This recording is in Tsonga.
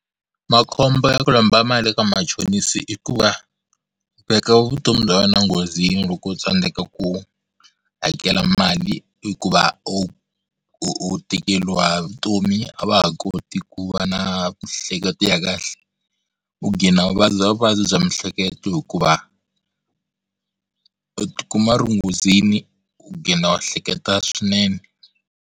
Makhombo ya ku lomba mali eka machonisa i ku va u veka vutomi bya wena nghozini loko u tsandzeka ku hakela mali hikuva u u u tikeriwa hi vutomi a va ha koti ku va na miehleketo ya kahle u u vabya vuvabyi bya miehleketo hikuva u ti kuma u ri enghozini u u hleketa swinene.